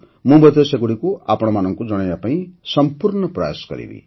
ମୁଁ ମଧ୍ୟ ସେଗୁଡ଼ିକୁ ଆପଣମାନଙ୍କୁ ଜଣାଇବା ପାଇଁ ସମ୍ପୂର୍ଣ୍ଣ ପ୍ରୟାସ କରିବି